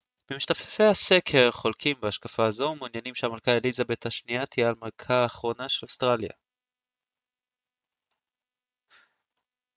34% ממשתתפי הסקר חולקים בהשקפה זו ומעוניינים שהמלכה אליזבת השנייה תהיה המלכה האחרונה של אוסטרליה